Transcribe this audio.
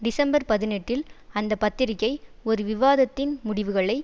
December பதினெட்டில் அந்த பத்திரிகை ஒரு விவாதத்தின் முடிவுகளை